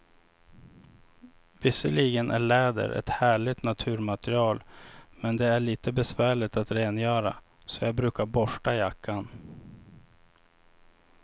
Visserligen är läder ett härligt naturmaterial, men det är lite besvärligt att rengöra, så jag brukar borsta jackan.